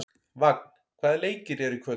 Vagn, hvaða leikir eru í kvöld?